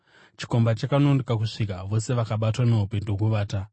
Chikomba chakanonoka kusvika, vose vakabatwa nehope ndokuvata.